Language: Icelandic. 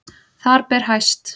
Þar ber hæst